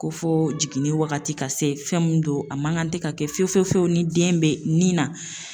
Ko fo jiginni wagati ka se fɛn mun don a man kan tɛ ka kɛ fiyewu fiyewu ni den bɛ nin na